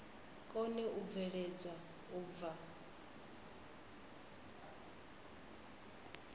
kone u bveledzwa u bva